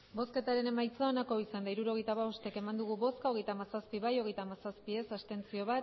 hirurogeita hamabost eman dugu bozka hogeita hamazazpi bai hogeita hamazazpi ez bat abstentzio